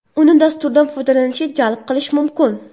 Uni dasturdan foydalanishga jalb qilish mumkin.